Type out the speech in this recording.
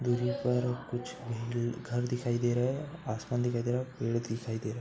दूरी पर कुछ घर दिखाई दे रहे है। आसमान दिखाई दे रहा है। पेड़ दिखाई दे रहा।